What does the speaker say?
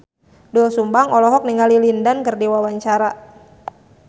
Doel Sumbang olohok ningali Lin Dan keur diwawancara